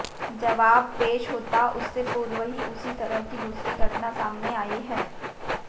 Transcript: जवाब पेश होता उससे पूर्व ही उसी तरह की दूसरी घटना सामने आई है